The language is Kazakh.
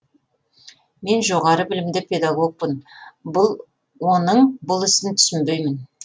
мен жоғары білімді педагогпын оның бұл ісін түсінбеймін